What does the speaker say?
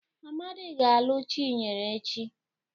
Amadị ga-alụ Chinyere echi.